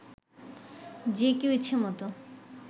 যে কেউ ইচ্ছেমতো